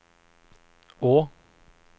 å